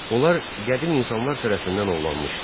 Onlar qədim insanlar tərəfindən ovlanmışdı.